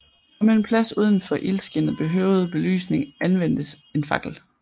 Om en plads udenfor ildskinnet behøvede belysning anvendtes en fakkel